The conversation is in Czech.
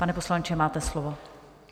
Pane poslanče, máte slovo.